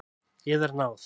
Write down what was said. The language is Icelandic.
Yðar náð!